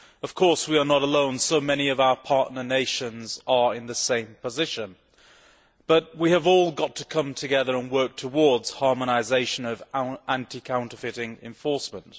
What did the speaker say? Of course, we are not alone and many of our partner nations are in the same position, but we have all got to come together and work towards harmonisation of anti counterfeiting enforcement.